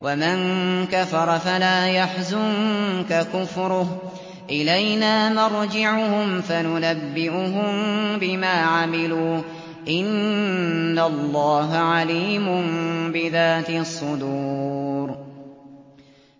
وَمَن كَفَرَ فَلَا يَحْزُنكَ كُفْرُهُ ۚ إِلَيْنَا مَرْجِعُهُمْ فَنُنَبِّئُهُم بِمَا عَمِلُوا ۚ إِنَّ اللَّهَ عَلِيمٌ بِذَاتِ الصُّدُورِ